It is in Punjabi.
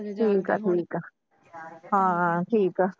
ਠੀਕ ਆ ਠੀਕ ਆ ਹਾਂ ਠੀਕ ਆ